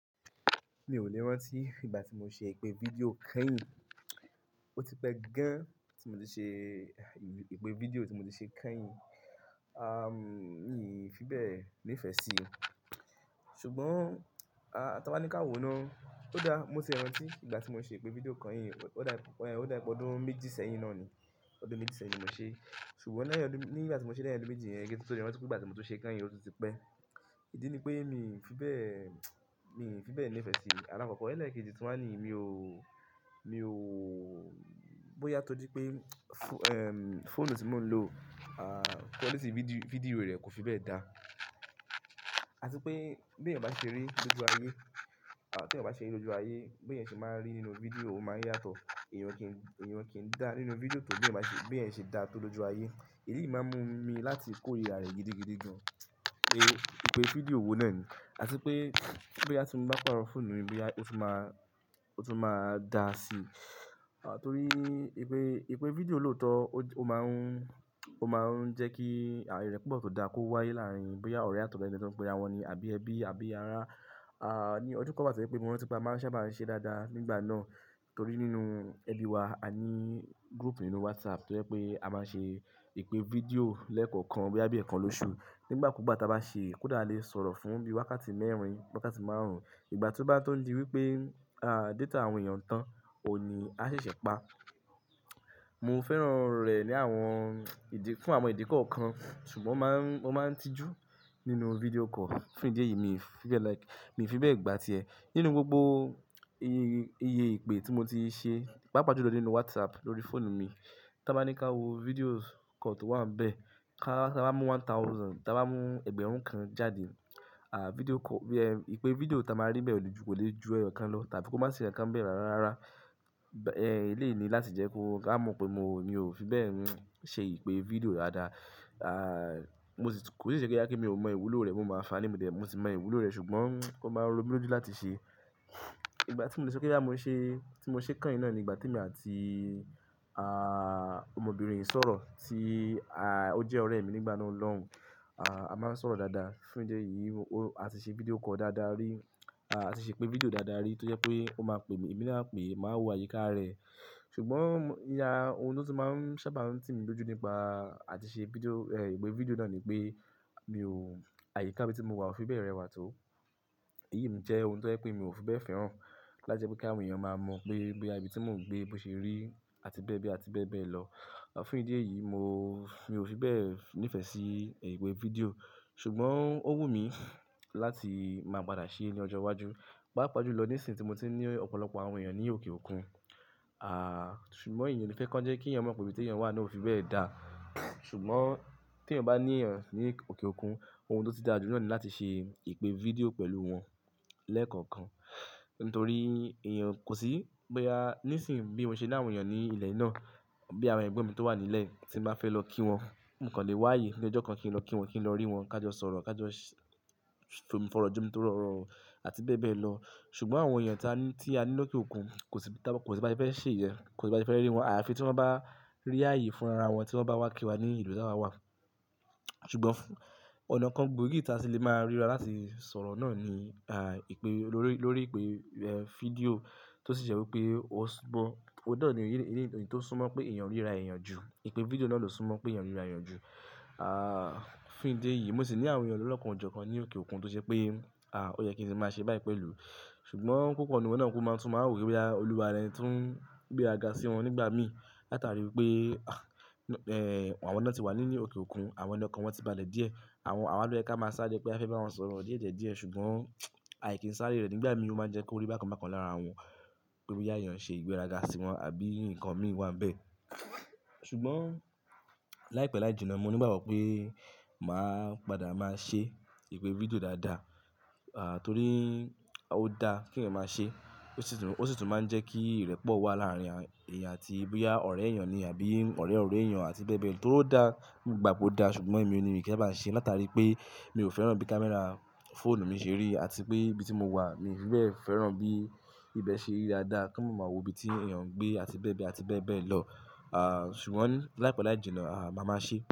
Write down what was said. Mi ò lè rántí ìgbà tí mo ṣe ìpè fídíò kéyìn. Ó ti pẹ́ gan tí mo ti ṣe ìpè fídíò tí mo ti ṣe kéyìn. À, mi ò fi bẹ́ẹ̀ nífẹ̀ẹ́ sí i. Ṣùgbọ́n, a-tá bá ní ká wo ná, ó dáa, mo tiè rántí ìgbà tí mo ṣe ìpè fídíò kányìn. Ó dà, ò dá wípé ọdún méjì sẹ́yìn náà ni, ọdún méjì sẹ́yìn ni mo ṣe é. Ṣùgbọ́n lẹ́yìn ọdún, ní ìgbà tí mo ṣẹ́ lẹ́yìn ọdún méjì yẹn, ge, kí n tún tó le rántí pé ìgbà tí mo tún ṣe kányìn, ó tún ti pẹ́. Ìdí ni pé mi ò fi bẹ́ẹ̀, mi ò fi bẹ́ẹ̀ nífẹ̀ẹ́ sí i. Àlakọ̀ọ̀kó elẹ́ẹ̀kejì tún wá ni mi ò, mi ò, bóyá tó jú pé, fu-- ehn, fóònù tí mò ń lò, à, quality fídíò, fídíò rẹ̀ kò fi bẹ́ẹ̀ dá. Àti pé b'èèyàn bá ṣe rí lójú ayé, à, t'èèyàn bá ṣe rí lójú ayé, bí èèyàn ṣe máa n rí nínú fídíò, ó máa n yàtọ̀. Ẹ̀yàn kì í, ẹ̀yàn kì í dá nínú fídíò tó bí èèyàn bá ṣe, bí èèyàn ṣe dá tó lójú ayé. Èyí máa ń mú mi láti kórìíra rẹ̀ gidigidi gan. Èyí, ìpè fídíò wo náà ni. Àti pé bóyá tí mo bá pààrọ̀ fóònù mi, bóyá ó tún máa, ó tún máa da sí i. À, torí ìpè, ìpè fídíò lòótọ́, ó máa ń, ó máa ń jẹ́ kí ìrẹ́pọ̀ tó dáa kó wáyé láàárín bóyá ọ̀rẹ́ àtọ́rèé le jó ń pera wọn ní àbí ẹbí àbí ará. À, ní ọdún kan wà tó jé wípé mo rántí pé a máa n sábà máa ń ṣe dáadáa nígbà náà torí nínú ẹbí wa a ní group nínú WhatsApp tó jẹ́ pé a máa ṣe ìpè fídíò lẹ́ẹ̀kọ̀ọ̀kan bóyá bí ẹẹ̀kan lóṣù. Nígbàkúùgbà tí a bá ṣe é, kòdá a lè sọ̀rọ̀ fún bí i wákàtí mẹ́rin, wákàtí márùn-ún. Ìgbà tí ó bá tó ń di wípé, à, data àwọn èèyàn tán, òn ní a ṣẹ̀ṣẹ̀ pa. Mo fẹ́ràn rẹ̀ ní àwọn ìdí-- fún àwọn ìdí kọ̀ọ̀kan, ṣùgbọ́ máa ń, mó máa ń tijú nínú fídíò call. Fún ìdí èyí, mi ò fi bẹ́ẹ̀ like, mi ò fi bẹ́ẹ̀ gbátí ẹ. Nínú gbogbo iye, iye ìpè tí mo ti ṣe, pàápàá julọ nínú WhatsApp lórí fóònù mi, tá bá ní ká wo videos call tó wà ń'bẹ́ẹ̀, ká, tá bá mú one thousand, tá bá mú ẹgbẹ̀rún kan jáde, à, fídíò call, bí i, ehn, ìpè fídíò tí a máa rí bẹ́ẹ̀ lòjù kò lè ju ẹ̀yọ̀kan lọ tàbí kó má sì nkankan n'bẹ́ẹ̀ rárárárá. Ẹ̀, eléyì ni láti jẹ́ kó, ká mọ̀ pé mo, mi ò fi bẹ́ẹ̀ un ṣe ìpè fídíò dáadáa. À, mo sì, kò sì ṣẹ́ pé bóyá pé mi ò mọ ìwúlò rẹ̀, mo mọ àńfààni mò dé, mo sì mọ ìwúlò rẹ̀ ṣùgbọ́n ó máa ń rọ mí lójú láti ṣe. Ìgbà tí mo lè sọ pé bóyá mo ṣe, tí mo ṣe kányìn náà ni ìgbà tí èmi àti, à, ọmọbìnrin i sọ̀rọ̀ tí, à, ó jẹ́ ọ̀rẹ́ mi nígbà náà lọ́hùn. À, a máa ń sọ̀rọ̀ dáadáa. Fún ìdí èyí, o, a ti ṣe fídíò call dáadáa rí. À, a ti ṣe ìpè fídíò dáadáa rí tojé pé ó máa pè mí, èmi náà á pè é, màá wo àyíká rẹ̀. Ṣùgbọ́n iye ohun tó ti máa ń sábà ń ti mí lójú nípa àti ṣe fídíò, ehn, ìpè fídíò náà ni pé mi ò, àyíká ibi tí mo wà ò fi bẹ́ẹ̀ rẹwà tó. Èyí jẹ́ ohun tó jẹ́ pé mi ò fi bẹ́ẹ̀ fẹ́ràn láti jẹ́ kí àwọn èèyàn máa mọ̀ pé, bóyá ibì tí mò ń gbé bó ṣe rí àti bẹ́ẹ̀ bẹ́ẹ̀ àti bẹ́ẹ̀ bẹ́ẹ̀ lọ. À, fún ìdí èyí mo, mi ò fi bẹ́ẹ̀ nífẹ̀ẹ́ sí ìpè fídíò. Ṣùgbọ́n ó wù mí láti máa padà ṣe é ní ọjọ́ iwájú. Pàápàá julọ nísìnyí tí mo ti n ní ọ̀pọ̀lọpọ̀ àwọn èèyàn ní òkè òkun. À, ṣùgbọ́n èèyàn ò ní fẹ́ kọ́ńjẹ́ kí èèyàn mọ pé ibi tí èèyàn wà náà ò fi bẹ́ẹ̀ dá. Ṣùgbọ́n tí èèyàn bá ní èèyàn ní òkè òkun, ohun tó ti dáa jù náàni láti ṣe ìpè fídíò pẹ̀lú wọn lẹ́ẹ̀kọ̀ọ̀kan. Nítorí èèyàn kò sí, bóyá nísìnyí bí mo ṣe ní àwọn èèyàn ní ilẹ̀ náà, bí àwọn ẹgbón mi tó wà nílẹ̀ tí n bá fẹ́ lọ kí wọn, mo kan lè wáàyé ní ọjọ́ kan kí n lọ kí wọn, kí n lọ rí wọn, ká jọ sọ̀rọ̀, ká jọ s-tomi fọ̀rọ̀ jomi tọrọ̀ òrọ̀ àti bẹ́ẹ̀ bẹ́ẹ̀ lọ. Ṣùgbọ́n àwọn èèyàn tí a ní, tí a ní lókè òkun kò sí, táa kò sí bá ṣe fé se'yẹn, kò sí bá se fẹ́ rí wọn. Àfi tí wọ́n bá rí ààyè fún ara wọn tí wọ́n bá wá kí wa ní ìlú tí a wà. Ṣùgbọ́n fún ọ̀nà kan gbòógì tí a tì lè máa ríra láti sọ̀rọ̀ náà ni, à, ìpè lórí, lórí ìpè, ehn, fídíò tó sì jẹ́ wípé ó súńmọ́, óun nà ní, ní, ní ohun tó súnmọ́ pé èèyàn ríra èèyàn jù. Ìpè fídíò náà ló súnmọ́ pé èèyàn ń ríra èèyàn jù. À, fún ìdí èyí mo sì ní àwọn èèyàn lọ́lọ̀kan ọ̀jọ̀ọ̀kan ní òkè òkun tó jẹ́ pé, à, ó yẹ kí n sì máa ṣe báyìí pẹ̀lú. Ṣùgbọ́n púpò n'nú wọn náà kú máa tún máa n rò wípé bóyá olúwarẹ̀ tún gbéra ga sí wọn nígbà mí. Látàrí wípé, ah, ehn, àwọn ná ti wà ní òkè òkun, àwọn lọ̀kàn wọ́n ti balẹ̀ díẹ̀. Àwọn, àwa ló yẹ́ ká máa sáré pé a fẹ́ bá wọn sọ̀rọ̀ díẹ̀diẹ̀ díẹ̀ ṣùgbọ́n, àì kí ń sáré rẹ̀ nígbà mí ó máa ń jẹ́ kó rí bákan bákan lára wọn pé bóyá èèyàn n ṣe ìgbéraga sí wọn àbí nǹkan mí wá ń bẹ́ẹ̀. Ṣùgbọ́n láìpẹ́ láìjìnà mo ní ìgbàgbọ́ pé màá padà máa ṣe ìpè fídíò dáadáa. À, torí ó dá kí èèyàn máa ṣe é. Ó sì tún, ó sì tún máa ń jẹ́ kí ìrẹ́pọ̀ wà láàárín èèyàn àti bóyá ọ̀rẹ́ èèyàn ni àbí ọ̀rẹ́ ọ̀rẹ́ èèyàn àti bẹ́ẹ̀ bẹ́ẹ̀ lọ torí ó dá, mogbà pó dáa ṣùgbọ́n èmi ní mi kí sábà ṣe é látàrí pé mi ò fẹ́ràn bí camera fóònù mi ṣe rí àti pé ibi tí mo wà mi ò fi bẹ́ẹ̀ fẹ́ràn bí ibẹ̀ ṣe rí dáadáa kán máa ma wọ̀ ibi tí èèyàn n gbé àti bẹ́ẹ̀ bẹ́ẹ̀ àti bẹ́ẹ̀ bẹ́ẹ̀ lọ. À, ṣùgbọ́n láìpẹ́ láìjìnà, màa ma sé.